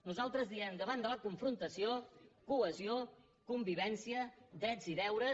nosaltres diem davant de la confrontació cohe·sió convivència drets i deures